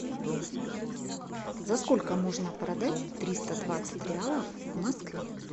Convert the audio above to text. за сколько можно продать триста двадцать реалов в москве